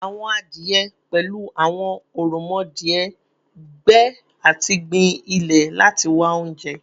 Awọn adie, pẹlu awọn oromodie, gbe ati gbin ilẹ lati wa ounjẹ